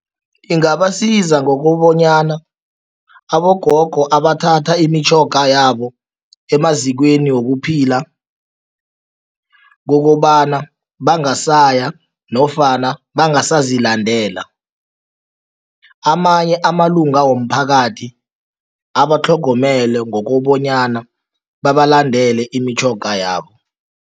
Ingabasiza ngokobanyana abogogo abathatha imitjhoga yabo emazikweni wokuphila, kokobana basaya nofana bangasazilandela, amanye amalunga womphakathi abatlhogomele ngokobanyana babalandele imitjhoga yabo.